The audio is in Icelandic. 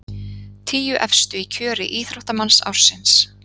Tíu efstu í kjöri íþróttamanns ársins